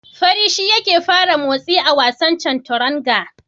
Fari shi yake fara motsi a wasan Chanturanga.